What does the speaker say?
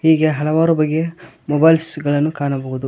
ಹೀಗೆ ಹಲವಾರು ಬಗೆಯ ಮೊಬೈಲ್ಸ್ ಗಳನ್ನು ಕಾಣಬಹುದು.